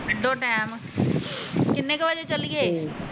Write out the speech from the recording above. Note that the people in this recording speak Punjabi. ਕੱਢੋ ਟੈਮ ਕੀਨੇ ਕ ਬਜੇ ਚੱਲੀਏ?